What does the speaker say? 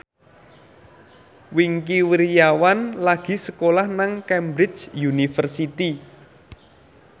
Wingky Wiryawan lagi sekolah nang Cambridge University